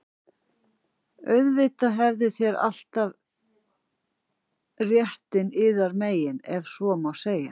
Auðvitað hafið þér alltaf réttinn yðar megin,- ef svo má segja.